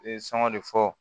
U ye sɔngɔn de fɔ